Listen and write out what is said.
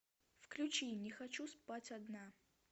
включи не хочу спать одна